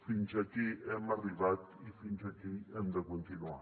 fins aquí hem arribat i fins aquí hem de continuar